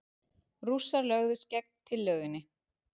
Rússar lögðust gegn tillögunni.